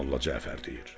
Molla Cəfər deyir.